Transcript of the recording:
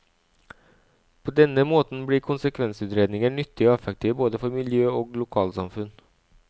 På denne måten blir konsekvensutredninger nyttige og effektive både for miljø og lokalsamfunn.